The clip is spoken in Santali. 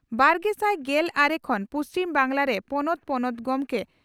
ᱵᱟᱨᱜᱮᱥᱟᱭ ᱜᱮᱞ ᱟᱨᱮ ᱠᱷᱚᱱ ᱯᱩᱪᱷᱤᱢ ᱵᱟᱝᱜᱽᱞᱟᱨᱮ ᱯᱚᱱᱚᱛ ᱯᱚᱱᱚᱛ ᱜᱚᱢᱠᱮ